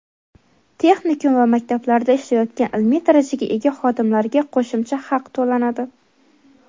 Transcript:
texnikum va maktablarda ishlayotgan ilmiy darajaga ega xodimlarga qo‘shimcha haq to‘lanadi.